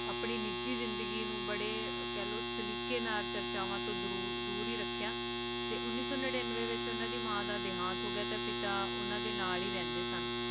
ਆਪਣੀ ਨਿਜੀ ਜ਼ਿੰਦਗੀ ਨੂੰ ਬਾਰੇ ਸਲੀਕੇ ਤੇ ਚਾਰਚਾਹੋੰ ਤੋਂ ਦੂਰ ਹੈ ਰੱਖਿਆ ਤੇ ਉਨੀਸ ਸੋ ਨੀਂਏਂਵੇ ਤੋਂ ਉਨ੍ਹਾਂ ਦੀ ਮਾਂ ਦਾ ਦਿਹਾਂਤ ਹੋਗਿਆ ਤੇ ਪਿਤਾ ਉਨ੍ਹਾਂ ਦੇ ਨਾਲ ਹੈ ਰਹਿੰਦੇ ਸਨ